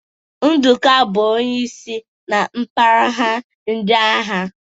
Nduka bụ onye isi na mpaghara ndị agha.